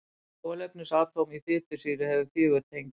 Hvert kolefnisatóm í fitusýru hefur fjögur tengi.